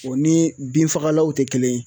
O ni binfagalaw tɛ kelen ye